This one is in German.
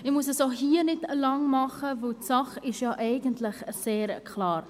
Ich muss auch hier nicht lange sprechen, denn die Sache ist eigentlich sehr klar: